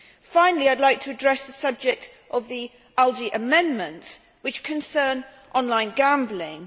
Finally I would like to address the subject of the ALDE Group amendments which concern online gambling.